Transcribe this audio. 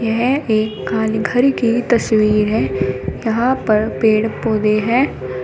यह एक कानघर की तस्वीर है यहां पर पेड़ पौधे हैं।